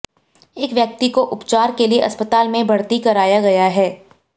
एक व्यक्ति को उपचार के लिये अस्पताल में भर्ती कराया गया है